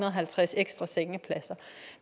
og halvtreds ekstra sengepladser